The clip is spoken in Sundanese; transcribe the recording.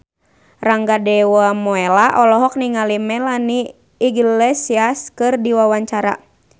Rangga Dewamoela olohok ningali Melanie Iglesias keur diwawancara